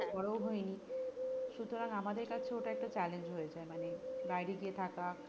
পরেও সুতরাং আমাদের কাছে ওটা একটা challenge হয়ে যাই মানে বাইরে গিয়ে থাকা